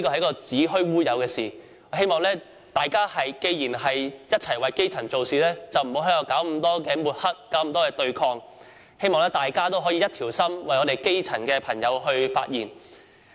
既然大家同為基層做事，就不應老是搞抹黑和對抗，希望大家可以一心一意，為基層的朋友發聲。